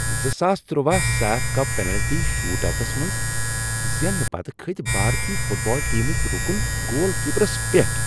زٕساس تُرٛواہ SAFF cup penalty shootouts منٛز زیننہٕ پتہٕ کھٔتۍ بھارتی فٹ بال ٹیمٕکۍ رکن گول کیپرَس پیٹھ ۔